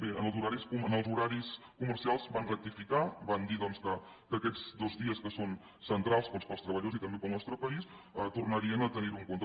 bé en els horaris comercials van rectificar van dir doncs que aquests dos dies que són centrals per als treballadors i també per al nostre país tornarien a tenir ho en compte